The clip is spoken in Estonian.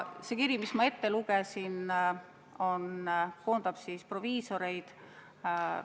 See kiri, mille ma ette lugesin, koondab proviisoreid.